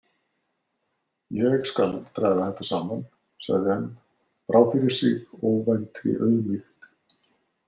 Ég skal draga þetta saman, sagði hann, brá fyrir sig óvæntri auðmýkt.